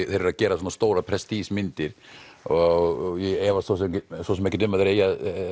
þeir eru að gera svona stórar prestige myndir og ég efast svo sem svo sem ekki um að þeir eigi